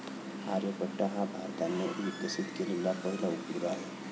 आर्यभट्ट हा भारताने विकसित केलेला पहिला उपग्रह आहे.